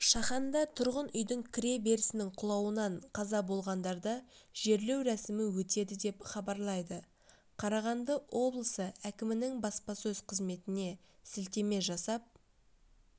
шаханда тұрғын үйдің кіреберісінің құлауынан қаза болғандарды жерлеу рәсімі өтеді деп хабарлайды қарағанды облысы әкімінің баспасөз қызметіне сілтеме жасап